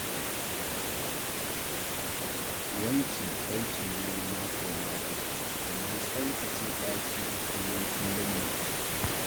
Wanki aiki ne na mako-mako, amma tsaftace ɗaki na kullum-kullum ne.